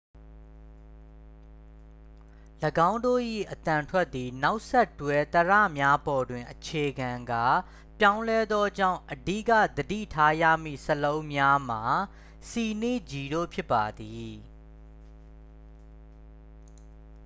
၎င်းတို့၏အသံထွက်သည် နောက်ဆက်တွဲ သရများပေါ်တွင် အခြေခံကာ ပြောင်းလဲသောကြောင့် အဓိက သတိထားရမည့် စာလုံးများမှာ c နှင့် g တို့ဖြစ်ပါသည်